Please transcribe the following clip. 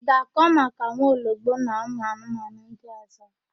Ị ga-akọ maka nwaologbo na ụmụanụmanụ ndị ọ̀zọ́?